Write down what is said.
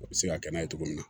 O bɛ se ka kɛ n'a ye cogo min na